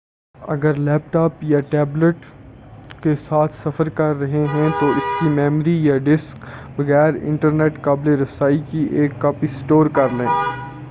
اگر laptop یا tablet کے ساتھ سفر کر رہے ہیں تو، اسکی میموری یا ڈسک بغیر انٹرنیٹ قابِلِ رَسائی کی ایک کاپی سٹور کر لیں-